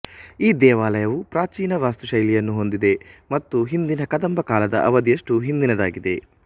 ಈ ದೇವಾಲಯವು ಪ್ರಾಚೀನ ವಾಸ್ತುಶೈಲಿಯನ್ನು ಹೊಂದಿದೆ ಮತ್ತು ಹಿಂದಿನ ಕದಂಬ ಕಾಲದ ಅವಧಿಯಷ್ಟು ಹಿಂದಿನದಾಗಿದೆ